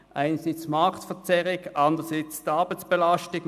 einerseits die Marktverzerrung, andererseits die Arbeitsbelastung.